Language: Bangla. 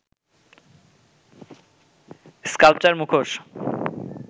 স্কাল্পচার, মুখোশ